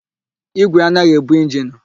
Ígwè anaghị ebu injinu.